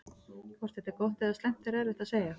Hvort þetta er gott eða slæmt er erfitt að segja.